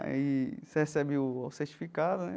Aí você recebe o certificado né.